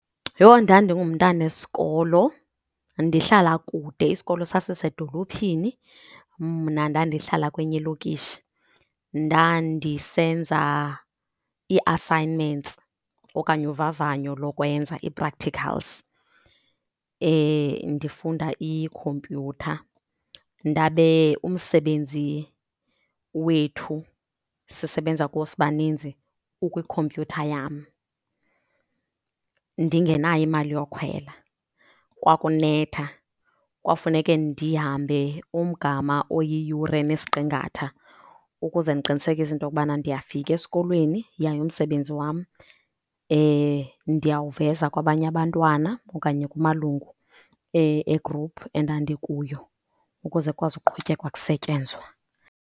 Yho, ndandingumntana wesikolo ndihlala kude. Isikolo sasisedolophini, mna ndandihlala kwenye ilokishi. Ndandisenza ii-assignments okanye uvavanyo lokwenza, ii-practicals, ndifunda ikhompyutha. Ndabe umsebenzi wethu sisebenza kuwo sibaninzi ukwikhompyutha yam, ndingenayo imali yokhwela. Kwakunetha, kwakufuneke ndihambe umgama oyiyure nesiqingatha ukuze ndiqinisekise into kubana ndiyafika esikolweni yaye umsebenzi wam ndiyawuveza kwabanye abantwana okanye kumalungu egruphu endandikuyo ukuze kukwazi uqhutyekwa kusetyenzwe.